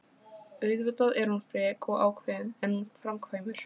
Auðvitað er hún frek og ákveðin, en hún framkvæmir.